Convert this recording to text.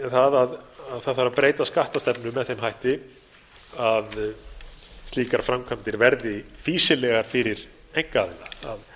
það að breyta þarf skattastefnu með þeim hætti að slíkar framkvæmdir verði fýsilegar fyrir einkaaðila að